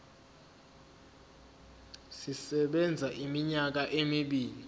sisebenza iminyaka emibili